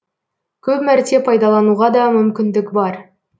көп мәрте пайдалануға да мүмкіндік бар